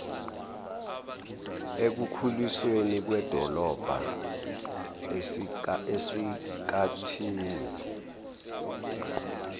ekukhulisweni kwedolobha esikathini